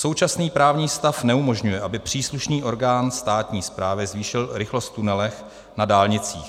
Současný právní stav neumožňuje, aby příslušný orgán státní správy zvýšil rychlost v tunelech na dálnicích.